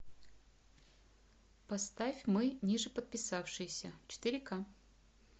поставь мы нижеподписавшиеся четыре ка